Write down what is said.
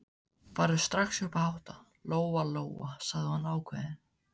Farðu strax upp að hátta, Lóa Lóa, sagði hún ákveðin.